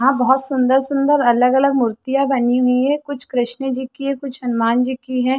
यहाँ बहुत सुंदर-सुंदर अलग-अलग मुर्तिया बनी हुई है कुछ कृष्ण जी की है और क कुछ हनुमान जी की है।